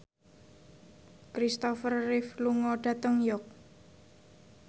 Kristopher Reeve lunga dhateng York